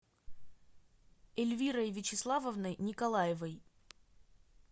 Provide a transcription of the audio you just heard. эльвирой вячеславовной николаевой